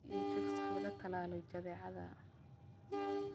Hubi in chicks laga tallaalay jadeecada.